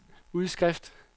udskrift